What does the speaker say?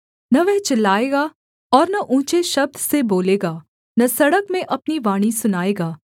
न वह चिल्लाएगा और न ऊँचे शब्द से बोलेगा न सड़क में अपनी वाणी सुनाएगा